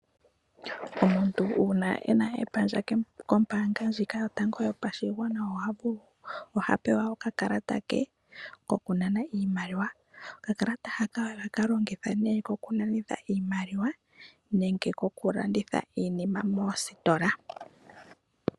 Omuntu una ena epandja kombanga ndjika yotango yopashigwana oha pewa oka kalata ke koku nana iimaliwa, oka kalata haka oha ka longithwa koku nanitha iimaliwa nenge ko kulanditha iinima moostola.